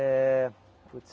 É... Putes.